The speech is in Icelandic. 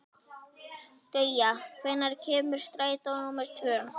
Gauja, hvenær kemur strætó númer tvö?